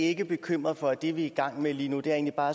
ikke bekymret for at det vi er i gang med lige nu egentlig bare